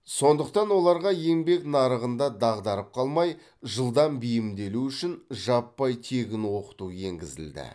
сондықтан оларға еңбек нарығында дағдарып қалмай жылдам бейімделуі үшін жаппай тегін оқыту енгізілді